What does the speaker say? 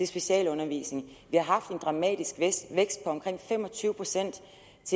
specialundervisningen vi har haft en dramatisk vækst på omkring fem og tyve procent